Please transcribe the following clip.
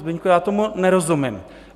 Zbyňku, já tomu nerozumím.